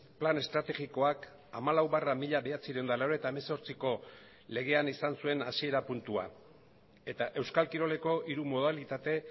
plan estrategikoak hamalau barra mila bederatziehun eta laurogeita hemezortziko legean izan zuen hasiera puntua eta euskal kiroleko hiru modalitate